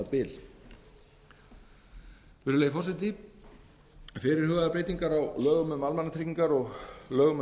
um félagslega aðstoð fyrirhugaðar breytingar á lögum um almannatryggingar og lögum um